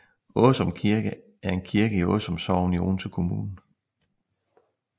Åsum Kirke er en kirke i Åsum Sogn i Odense Kommune